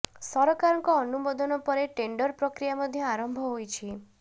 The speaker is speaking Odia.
ସରକାରଙ୍କ ଅନୁମୋଦନ ପରେ ଟେଣ୍ଡର ପ୍ରକ୍ରିୟା ମଧ୍ୟ ଆରମ୍ଭ ହୋଇଛି